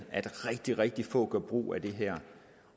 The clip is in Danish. at rigtig rigtig få gør brug af det her